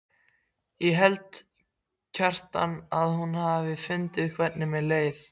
Ég held, Kjartan, að hún hafi fundið hvernig mér leið.